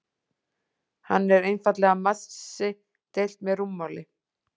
Hann er einfaldlega massi deilt með rúmmáli.